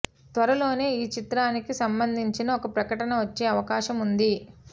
త్వరలోనే ఈ చిత్రానికి సంబధించిన ఓ ప్రకటన వచ్చే అవకాశం వుంది